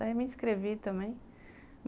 Daí me inscrevi também.